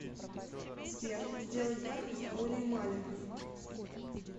сбер сделай яркость более маленькой